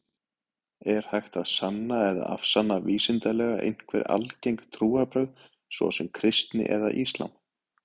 Er hægt að sanna eða afsanna vísindalega einhver algeng trúarbrögð, svo sem kristni eða islam?